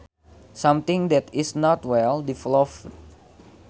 Something that is not well developed